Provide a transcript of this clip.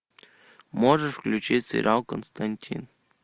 можешь включить сериал константин